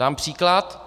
Dám příklad.